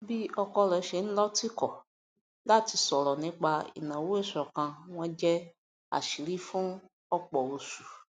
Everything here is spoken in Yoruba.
bí ọkọ rẹ ṣe ń lọ tìkọ láti sọrọ nípa ìnáwó ìṣọkan wọn jẹ àṣírí fún ọpọ oṣù